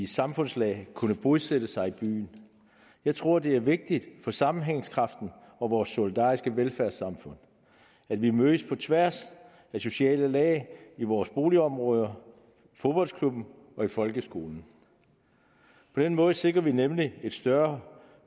samfundslag kunne bosætte sig i byen jeg tror det er vigtigt for sammenhængskraften og vores solidariske velfærdssamfund at vi mødes på tværs af sociale lag i vores boligområder i fodboldklubben og i folkeskolen på den måde sikrer vi nemlig en større